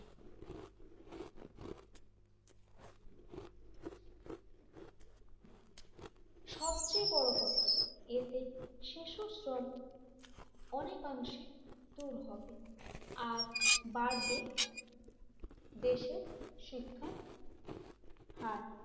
সবচেয়ে বড় কথা এতে শিশু শ্রম অনেকাংশে দূর হবে আর বাড়বে দেশের শিক্ষার হার,